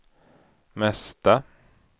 mesta